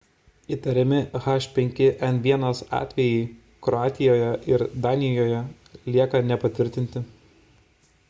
įtariami h5n1 atvejai kroatijoje ir danijoje lieka nepatvirtinti